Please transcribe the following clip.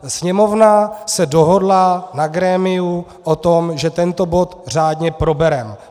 Sněmovna se dohodla na grémiu o tom, že tento bod řádně probereme.